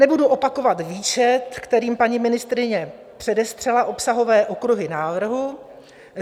Nebudu opakovat výčet, kterým paní ministryně předestřela obsahové okruhy návrhu.